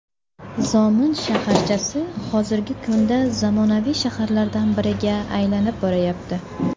Zomin shaharchasi hozirgi kunda zamonaviy shaharlardan biriga aylanib borayapti.